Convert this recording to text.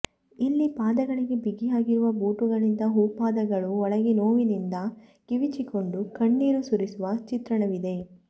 ಇಲ್ಲೀ ಪಾದಗಳಿಗೆ ಬಿಗಿಯಾಗಿರುವ ಬೂಟುಗಳಿಂದ ಹೂಪಾದಗಳು ಒಳಗೆ ನೋವಿನಿಂದ ಕಿವಿಚಿಕೊಂಡು ಕಣ್ಣೀರು ಸುರಿಸುವ ಚಿತ್ರಣವಿದೆ